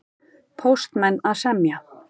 Póstmenn að semja